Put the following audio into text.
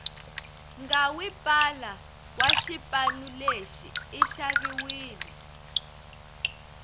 ngawi pala washipanuleshi ishaviwile